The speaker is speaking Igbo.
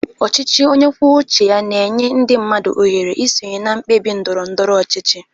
Ọchịchị onye kwuo uche ya na-enye ndị mmadụ ohere isonye na mkpebi ndoro ndoro ọchịchị.